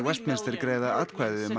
greiða atkvæði um hann